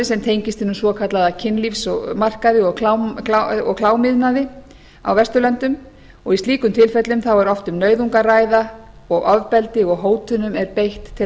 sem tengist hinum svokallaða kynlífsmarkaði og klámiðnaði á vesturlöndum í slíkum tilfellum er oft um nauðung að ræða og ofbeldi og hótunum er beitt til